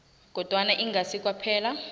kodwana ingasi kwaphela